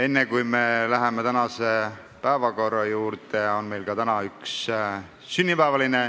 Enne, kui me läheme tänase päevakorra juurde, on meil täna õnnitleda üks sünnipäevaline.